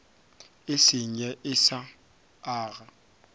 e senye e sa aga